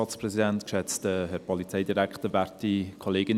Nun für die EDU, Samuel Kullmann.